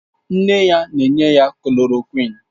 Nne ya na-enye ya klòròkwịn